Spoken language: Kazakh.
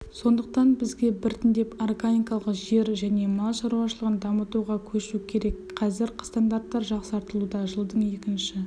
сондықтан бізге біртендеп органикалық жер және мал шаруашылығын дамытуға көшу керек қазір стандарттар жасақталуда жылдың екінші